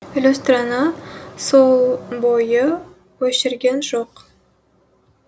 люстраны сол бойы өшірген жоқ